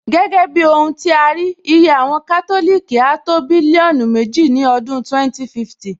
Gẹ́gẹ́ bí ohun tí a rí, iye àwọn Kátòlìkì áá tó bílíọ́nù méjì ní ọdún 2050